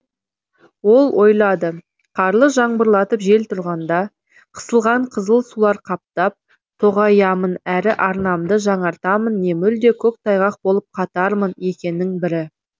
ол ойлады қарлы жаңбырлатып жел тұрғанда қысылған қызыл сулар қаптап тоғаямын әрі арнамды жаңартамын не мүлде көк тайғақ болып қатармын екінің бірі